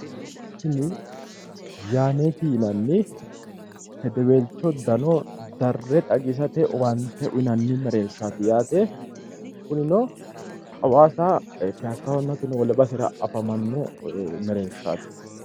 Tini yaaneeti yinanni hedeweelcho dano darre xagisate owaante uyiinanni merershaaati yaate kunino hawaasa piyaassahonna sinu wole basera afamanno mereershaati.